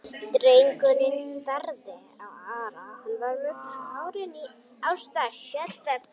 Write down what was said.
Drengurinn starði á Ara, hann var með tárin í augunum.